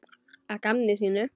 Að gamni sínu?